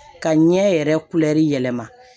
Ka ɲɛ yɛrɛ yɛlɛma